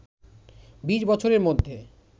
২০ বছরের মধ্যে